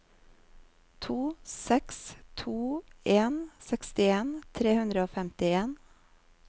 to seks to en sekstien tre hundre og femtien